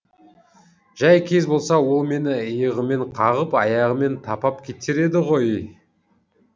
жай кез болса ол мені иығымен қағып аяғымен тапап кетер еді ғой